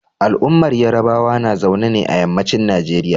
Al'ummar Yarbawa na zaune ne a yammacin Nigeria.